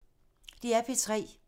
DR P3